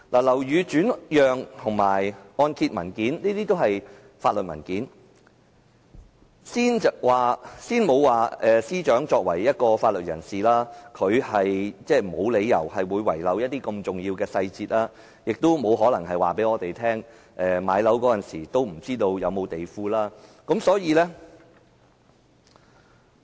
樓宇轉讓和按揭文件均是法律文件，先不談司長身為法律界人士，無理由遺漏如此重要的細節，她也不可能說，她買樓時對是否有地庫一事並不知情。